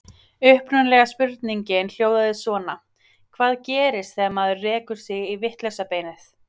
Upprunalega spurningin hljóðaði svona: Hvað gerist þegar maður rekur sig í vitlausa beinið?